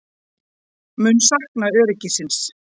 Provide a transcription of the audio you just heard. Mun sakna öryggisins.